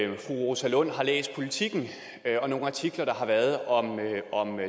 fru rosa lund har læst politiken og nogle artikler der har været om